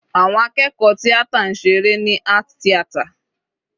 Àwọn akẹ́kọ̀ọ́ tíátà ń ṣe eré ní art theater.